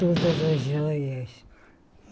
Todas as joias.